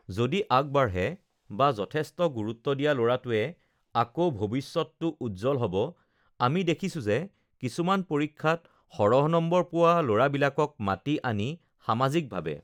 যদি আগবাঢ়ে বা যথেষ্ট গুৰুত্ব দিয়া ল'ৰাটোৱে আক ভৱিষ্যতটো উজ্জল হ'ব আমি দেখিছোঁ যে কিছুমান পৰীক্ষাত সৰহ নম্বৰ পোৱা ল'ৰবািলাকক মাতি আনি সামাজিকভাৱে